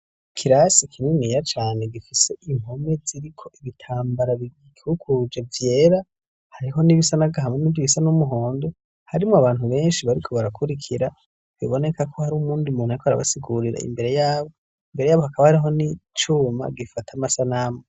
Ikirasi kininiya cane gifise impome ziriko ibitambara bigikikuje vyera hariho n'ibisa n'agahama n'ibindi bisa n'umuhondo harimwo abantu benshi bariko barakurikira biboneka ko hari uwundi muntu yako arabasigurira imbere yabo imbere yabo hakaba hariho n'icuma gifata amasanamu.